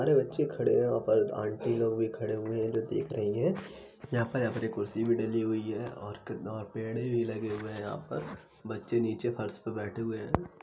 सारे बच्चे खड़े हैं यहाँ पर आंटी लोग भी खड़े हुए हैं जो देख रही है। यहां पर अपनी कुर्सी भी डली हुई है और पेड़े भी लगे हुए हैं। यहां पर बच्चे नीचे फर्श पर बैठे हुए हैं।